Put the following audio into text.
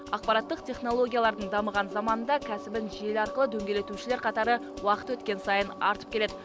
ақпараттық технологиялардың дамыған заманында кәсібін желі арқылы дөңгелетушілер қатары уақыт өткен сайын артып келеді